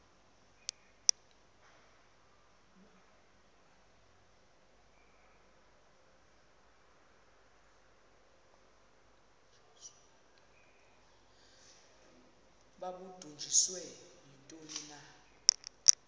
babudunjiswe yintoni na